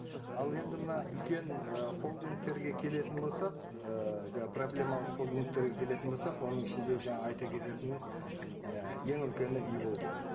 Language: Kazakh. ал енді мына үлкен і холдингтерге келетін болсақ і проблемалық холдингтерге келетін болсақ оның ішінде жаңа айта кететініміз і ең үлкені иволга